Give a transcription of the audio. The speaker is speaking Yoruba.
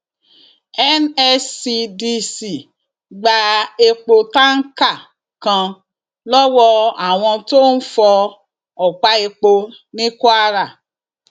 nscdc gba epo táǹkà kan lọwọ àwọn tó ń fọ ọpá epo ní kwara